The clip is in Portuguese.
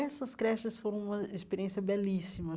Essas creches foram uma experiência belíssima.